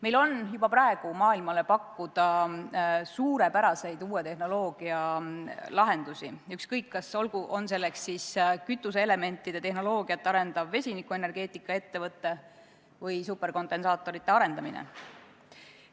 Meil on juba praegu maailmale pakkuda suurepäraseid uue tehnoloogia lahendusi, ükskõik, kas selleks on kütuseelementide tehnoloogiat arendav vesinikuenergeetika ettevõte või superkondensaatorite arendamine.